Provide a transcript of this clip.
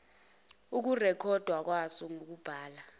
ukurekhodwa kwaso ngokubhala